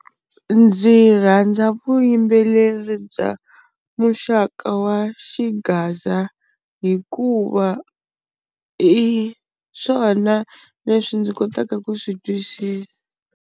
Ndzi rhandza vuyimbeleri bya muxaka wa xigaza hikuva i swona leswi ndzi kotaka ku swi twisisa.